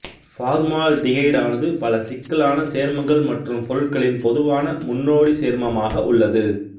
பார்மால்டிகைடானது பல சிக்கலான சோ்மங்கள் மற்றும் பொருட்களின் பொதுவான முன்னோடி சோ்மமாக உள்ளது